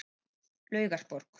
Laugarborg